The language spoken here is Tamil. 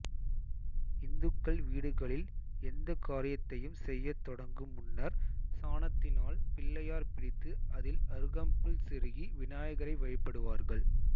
இந்துக்கள் வீடுகளில் எந்த காரியத்தையும் செய்ய தொடங்கு முன்னர் சாணத்தினால் பிள்ளையார் பிடித்து அதில்அருகம்புல் செருகி விநாயகரை வழிபடுவார்கள்